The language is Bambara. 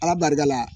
Ala barika la